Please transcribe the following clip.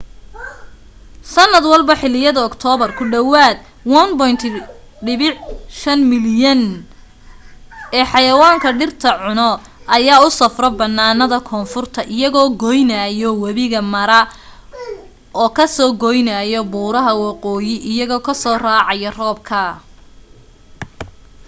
sanad walbo xiliyada oktoobar ku dhawaad 1.5 milyan ee xayawaanka dhirta cuno ayaa u safro bannaanada koonfurta iyagoo goynaayo wabiga mara oo ka soo goynaayo buuraha waqooyi iyagoo soo raacayo roobka